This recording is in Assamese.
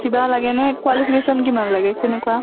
কিবা লাগে নে qualification কিমান লাগে কেনেকুৱা?